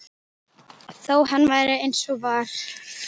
Þó hann væri eins og hann var.